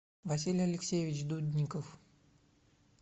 василий алексеевич дудников